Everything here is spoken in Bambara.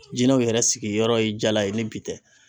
Jinɛw yɛrɛ sigiyɔrɔ ye jala ye ni bi tɛ